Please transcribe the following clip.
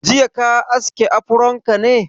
Jiya ka aske afron ka ne?